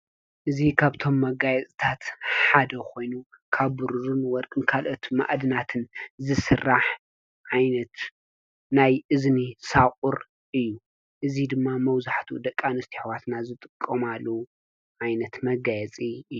እዚ ካብቶም መጋየፂታት ሓደ ኾይኑ ካብ ብሩርን ወርቅን ካልኦት ማዓድናት ዝስራሕ ዓይነት ናይ እዝኒ ሳቑር እዩ፡፡ እዚ ድማ መብዛሕቲኡ ደቂ ኣንስትዮ ኣሕዋትና ዝጥቀማሉ ዓይነት መጋየፂ እዩ፡፡